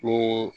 Ni